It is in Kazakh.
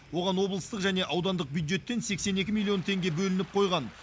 оған облыстық және аудандық бюджеттен сексен екі миллион теңге бөлініп қойған